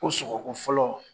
Ko sɔgɔkun fɔlɔ.